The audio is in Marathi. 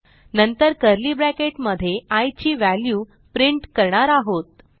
नंतर कर्ली ब्रॅकेट मध्ये आय ची व्हॅल्यू प्रिंट करणार आहोत